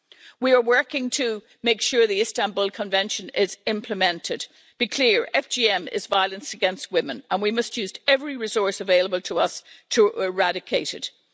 We are working to make sure the Istanbul Convention is implemented. Be clear FGM is violence against women, and we must use every resource available to us to eradicate it.